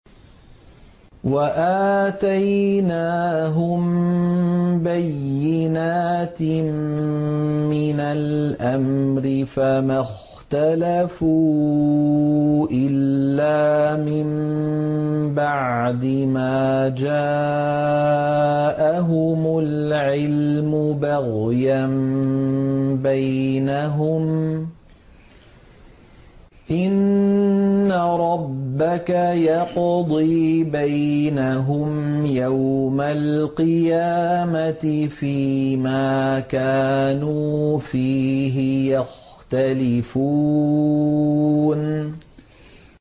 وَآتَيْنَاهُم بَيِّنَاتٍ مِّنَ الْأَمْرِ ۖ فَمَا اخْتَلَفُوا إِلَّا مِن بَعْدِ مَا جَاءَهُمُ الْعِلْمُ بَغْيًا بَيْنَهُمْ ۚ إِنَّ رَبَّكَ يَقْضِي بَيْنَهُمْ يَوْمَ الْقِيَامَةِ فِيمَا كَانُوا فِيهِ يَخْتَلِفُونَ